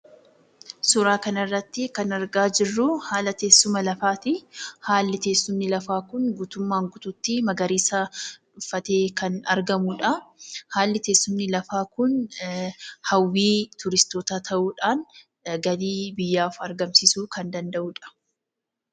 Suuraa kanarrattii kan argaa jirruu haala teessuma lafaatii. Haalli teessumni lafaa kun guutummaan guutuutti magariisa uffatee kan argamudhaa. Haalli teessumni lafaa kun hawwii turistootaa ta'uudhaan galii biyyaaf argamsiisuu kan danda'udha.